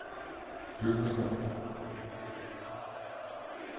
bygninger